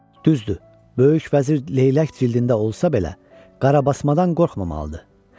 Düzdür, böyük vəzir leylək cildində olsa belə, qarabasmadan qorxmamalıdır.